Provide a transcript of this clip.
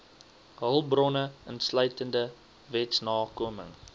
hulpbronne insluitende wetsnakoming